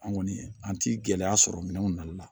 An kɔni an ti gɛlɛya sɔrɔ minɛnw nali la